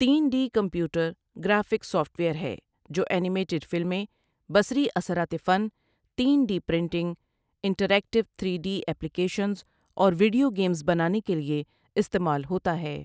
تین D computer graphic software ہے جو اینیمیٹڈ فلمیں بصری اثرات فن تین D printing, interactive three D applications اور ویڈیو گیمز بنانے کے لیے استعمال ہوتا ہے ۔